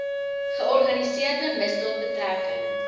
georganiseerde misdaad betrekking